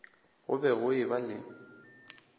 go be go eba le